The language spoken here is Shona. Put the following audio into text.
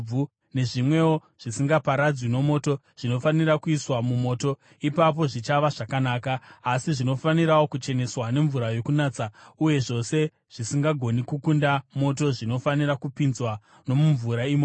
nezvimwewo zvisingaparadzwi nomoto; zvinofanira kuiswa mumoto, ipapo zvichava zvakanaka. Asi zvinofanirawo kucheneswa nemvura yokunatsa. Uye zvose zvisingagoni kukunda moto zvinofanira kupinzwa nomumvura imomo.